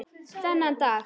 Þennan dag.